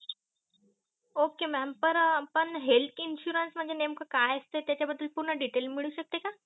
ok mam पण health insurance मंझे नेमक काय असते त्याचा बद्दल पूर्ण detail मिळू शकते का